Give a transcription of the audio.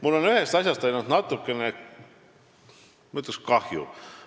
Mul on ainult ühest asjast natukene, ma ütleksin, kahju.